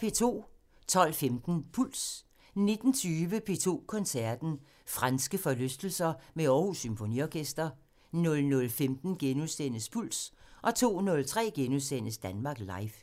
12:15: Puls 19:20: P2 Koncerten – Franske forlystelser med Aarhus Symfoniorkester 00:15: Puls * 02:03: Danmark Live *